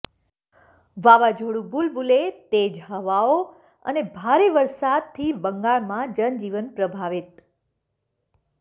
વાવાઝોડુ બુલબુલે તેજ હવાઓ અને ભારે વરસાદથી બંગાળમાં જનજીવન પ્રભાવિત